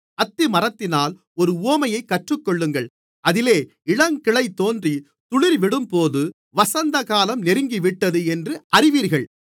அத்திமரத்தினால் ஒரு உவமையைக் கற்றுக்கொள்ளுங்கள் அதிலே இளங்கிளை தோன்றி துளிர்விடும்போது வசந்தகாலம் நெருங்கிவிட்டது என்று அறிவீர்கள்